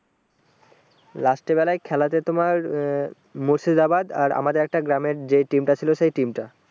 last এ বেলায় খেলাতে তোমার আহ মুর্শিদাবাদ আর আমাদের একটা গ্রামের যেই team তা ছিল সেই team তা